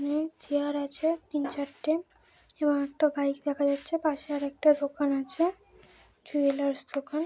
এখানে চেয়ার আছে তিন - চারটে এবং একটা বাইক দেখা যাচ্ছে। পাশে আরেকটা দোকান আছে। জুয়েলার্স দোকান।